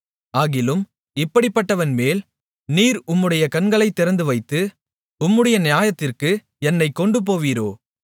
ஆகிலும் இப்படிப்பட்டவன்மேல் நீர் உம்முடைய கண்களைத் திறந்துவைத்து உம்முடைய நியாயத்திற்கு என்னைக் கொண்டுபோவீரோ